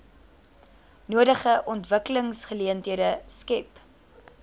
nodige ontwikkelingsgeleenthede skep